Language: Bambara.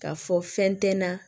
K'a fɔ fɛn tɛ n na